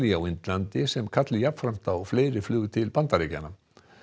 á Indlandi sem kalli jafnframt á fleiri flug til Bandaríkjanna